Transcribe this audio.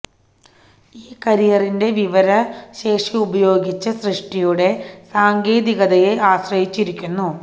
ഈ കാരിയറിന്റെ വിവര ശേഷി ഉപയോഗിച്ച സൃഷ്ടിയുടെ സാങ്കേതികതയെ ആശ്രയിച്ചിരിക്കുന്നു